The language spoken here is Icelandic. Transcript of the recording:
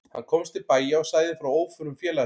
Hann komst til bæja og sagði frá óförum félaga sinna.